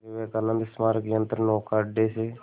विवेकानंद स्मारक यंत्रनौका अड्डे से